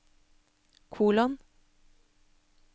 kolon